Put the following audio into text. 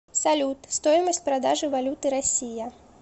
салют стоимость продажи валюты россия